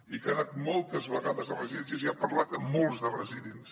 i que ha anat moltes vegades a residències i ha parlat amb molts de residents